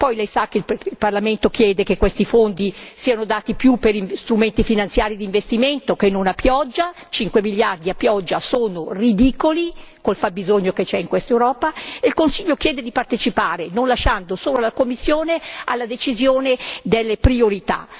Lei inoltre sa che il Parlamento chiede che questi fondi siano dati più per strumenti finanziari d'investimento che non a pioggia, 5 miliardi a pioggia sono ridicoli col fabbisogno che c'è in quest'Europa e il Consiglio chiede di partecipare, non lasciando solo alla Commissione la decisione delle priorità.